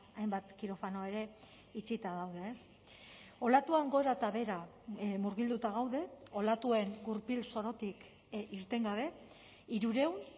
hainbat kirofano ere itxita daude olatuan gora eta behera murgilduta gaude olatuen gurpil zorotik irten gabe hirurehun